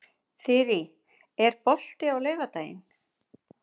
Þyrí, er bolti á laugardaginn?